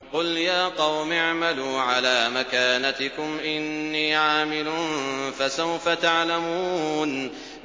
قُلْ يَا قَوْمِ اعْمَلُوا عَلَىٰ مَكَانَتِكُمْ إِنِّي عَامِلٌ ۖ فَسَوْفَ تَعْلَمُونَ